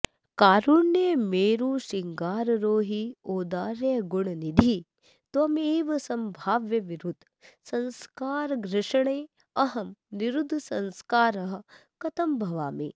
कारुण्य मेरुश्रृङ्गारोहि औदार्यगुणनिधि त्वमेव सम्भाव्य विरुद्ध संस्कार घर्षणेऽहं निरुद्धसंस्कारः कथं भवामि